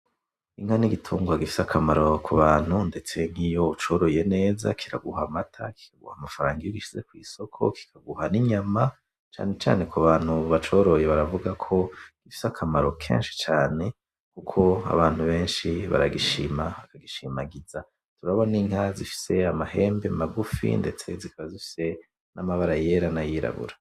Inka nigitungwa gifise akamaro kubantu ndetse nkiyo ucoroye neza kiraguha amata, kikaguha amafaranga, iyo ugishize kwisoko, kikaguha ninyama. Cane cane kubantu bacoroye baravuga ko gifise akamaro kenshi cane, kuko abantu benshi baragishima bagishimagiza. Turabona inka zifise amahembe magufi ndetse zikaba zifise namabara yera nayirabura.